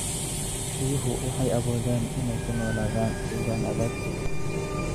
Riyuhu waxay awoodaan inay ku noolaadaan deegaan adag.